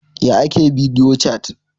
Yaya ake bidiyo cat?